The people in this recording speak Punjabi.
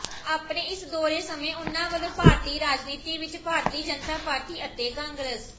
ਆਪਣੇ ਇਸ ਦੌਰੇ ਸਮੇਂ ਉਨ੍ਹਾਂ ਵਲੋਂ ਭਾਰਤੀ ਰਾਜਨੀਤੀ ਵਿਚ ਭਾਰਤੀ ਜਨਤਾ ਪਾਰਟੀ ਅਤੇ ਕਾਂਗਰਸ